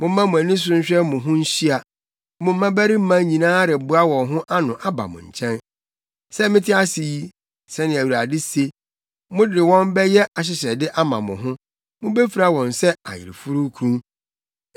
Momma mo ani so nhwɛ mo ho nhyia; mo mmabarima nyinaa reboa wɔn ho ano aba mo nkyɛn. Sɛ mete ase yi” sɛnea Awurade se, “mode wɔn bɛyɛ ahyehyɛde ama mo ho mubefura wɔn sɛ ayeforokunu.